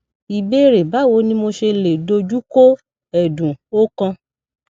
ìbéèrè báwo ni mo ṣe lè doju ko edun okan